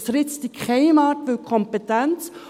Es ritzt in keiner Art die Kompetenz.